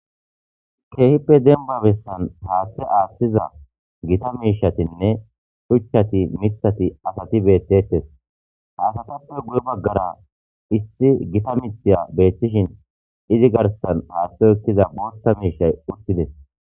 Keehippe demba besan haathe haathiza Gita mishatinne shuchat , mithat , asati betetesi, asatppe guye bagara issi Gita mithiya betishn izi garsan haathe oykiza bootha mishay utides,